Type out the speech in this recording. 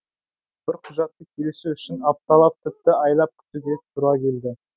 бір құжатты келісу үшін апталап тіпті айлап күтуге тура келді